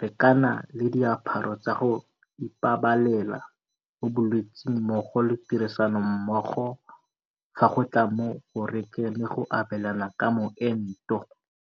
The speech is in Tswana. rekana le diaparo tsa go ipabalela mo bolwetseng mmogo le tirisanommogo fa go tla mo go rekeng le go abelaneng ka moento.